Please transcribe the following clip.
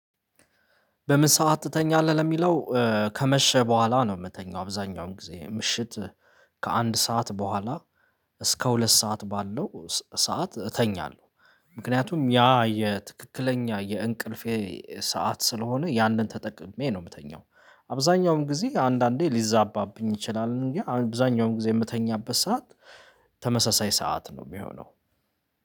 በምን ሰዓት ትተኛለህ ለሚለው? ከመሸ በኋላ ነው የምተኛው አብዛኛውን ጊዜ ምሽት ከአንድ ሰዓት በኋላ እስከ ሁለት ሰዓት ባለው ሰዓት እተኛለሁ። ምክንያቱም ያ የትክክለኛ የእንቅልፌ ሰዓት ስለሆነ ያንን ተጠቅሜ ነው የምተኛው። አብዛኛውን ጊዜ አንዳንዴ ሊዛባብኝ ይችላል እንጂ አብዛኛውን ጊዜ የምተኛበት ሰዓት ተመሳሳይ ሰዓት ነው ሚሆነው